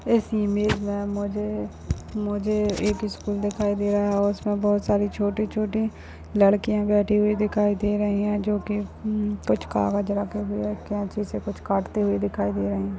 इस इमेज में मुझे मुझे एक स्कूल दिखाई दे रहा है इसमें बहुत सारी छोटी-छोटी लड़कियां बैठी हुई दिखाई दे रही है जोकि हम्म कुछ कागज रखे हुए कैंची से काटती हुई दिखाई दे रही है।